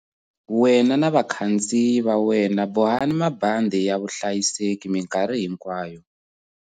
Wena na vakhandziyi va wena bohani mabandhi ya vuhlayiseki mikarhi hinkwayo.